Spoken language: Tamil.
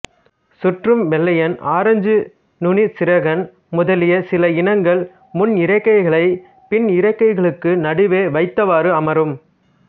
சுற்றும் வெள்ளையன் ஆரஞ்சு நுனிச்சிறகன் முதலிய சில இனங்கள் முன்னிறக்கைகளைப் பின்னிறக்கைகளுக்கு நடுவே வைத்தவாறு அமரும்